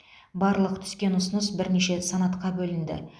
барлық түскен ұсыныс бірнеше санатқа бөлінді